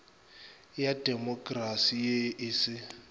ya demokrasi ye e se